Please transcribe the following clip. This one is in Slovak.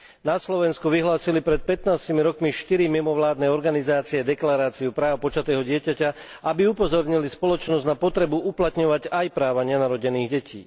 Na Slovensku vyhlásili pred 15 rokmi štyri mimovládne organizácie Deklaráciu práv počatého dieťaťa, aby upozornili spoločnosť na potrebu uplatňovať aj práva nenarodených detí.